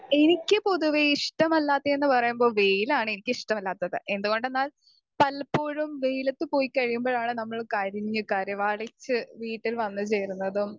speaker 2 എനിക്ക് പൊതുവെ ഇഷ്ട്ടമല്ലാത്തെന്ന് പറയുമ്പോ വെയിലാണ് എനിക്ക് ഇഷ്ട്ടമല്ലാത്തത്‍ എന്തുകൊണ്ടെന്നാൽ പലപ്പോഴും വെയിലത്ത് പോയി കഴിമ്പോഴാണ് നമ്മൾ കരിഞ്ഞ് കരിവാളിച്ച് വീട്ടിൽ വന്ന് കേറുന്നതും